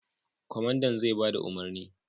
Kwamandan zai ba da umarni.